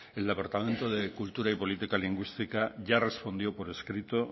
el departamento de cultura y política lingüística ya respondió por escrito